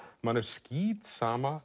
manni er skítsama